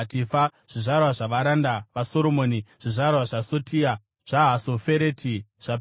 Zvizvarwa zvavaranda vaSoromoni: zvizvarwa zvaSotai, zvaHasofereti zvaPerudha,